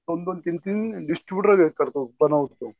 दोन दोन तीन तीन डिस्ट्रिब्युटर बनवतो.